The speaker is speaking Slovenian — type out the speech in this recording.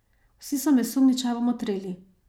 Vsi so me sumničavo motrili.